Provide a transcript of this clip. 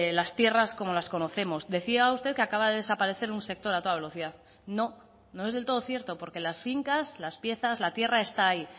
las tierras como las conocemos decía usted que acaba de desaparecer un sector a toda velocidad no no es del todo cierto porque las fincas las piezas la tierra está ahí